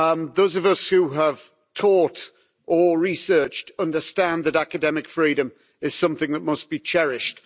Those of us who have taught or researched understand that academic freedom is something that must be cherished.